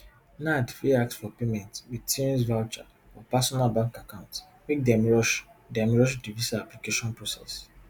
nad fit ask for payment wit tunes voucher or personal bank accounts make dem rush dem rush di visa application process